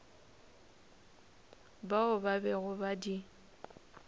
bao ba bego ba di